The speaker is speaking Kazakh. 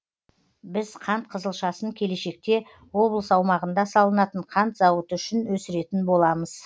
біз қант қызылшасын келешекте облыс аумағында салынатын қант зауыты үшін өсіретін боламыз